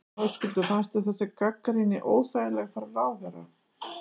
Höskuldur: Fannst þér þessi gagnrýni óþægileg frá ráðherra?